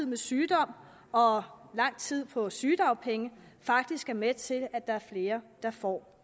med sygdom og lang tid på sygedagpenge faktisk er med til at der er flere der får